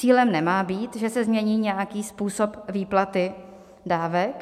Cílem nemá být, že se změní nějaký způsob výplaty dávek.